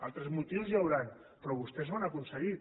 altres motius hi deuen haver però vostès ho han aconseguit